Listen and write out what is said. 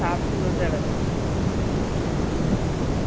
சாப்பிட்டு விரதம் எடுக்கலாம்